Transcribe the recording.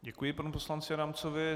Děkuji panu poslanci Adamcovi.